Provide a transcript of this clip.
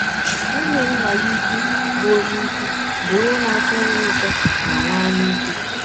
Nwụnye nna ya ụkwụ bụ ọnye ụkwụ bụ ọnye na - achọ ihe ụtọ ma nwee anyaike.